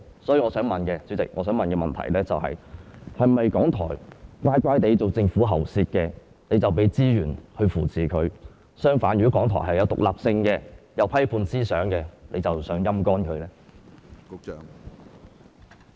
所以，我想提出的補充質詢是，是否港台乖巧地成為政府喉舌，當局才會提供資源來扶持他們；相反，如果港台具獨立性和批判思想，當局便想"陰乾"他們？